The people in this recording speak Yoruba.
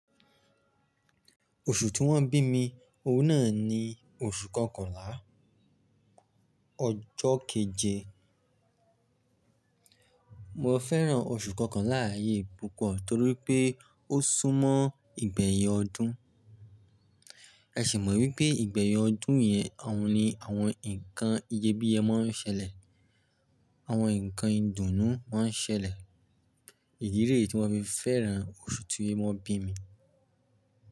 Oṣù tí wọ́n bí mi, òun náà ni oṣù Kọkànlá, ọjọ́ keje. Mo fẹ́ràn oṣù Kọkànlá yìí púpọ̀ torí wipé ó sún mọ́ ìgbẹ̀yin ọdún. Ẹ ṣi mọ̀ wípé ìgbẹ̀yin ọdún yẹn, òun ni àwọn nǹkan iyebíyẹ máa ń ṣẹlẹ̀, àwọn nǹkan ìdùnnú máa ń ṣẹlẹ̀. Idí leyii tí mo fi fẹ́ràn oṣù tí wọ́n bí mi.